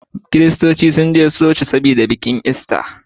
kiristoci sun je coci saboda bikin ista